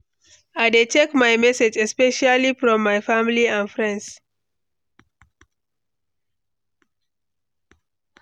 I dey check my messages, especially from my family and friends.